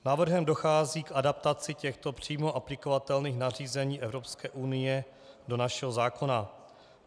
Návrhem dochází k adaptaci těchto přímo aplikovatelných nařízení Evropské unie do našeho zákona.